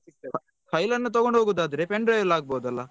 File ಅನ್ನು ತಗೊಂಡ್ ಹೋಗೋದಾದ್ರೆ Pendrive ಅಲ್ ಆಗ್ಬಹುದಲ್ಲ.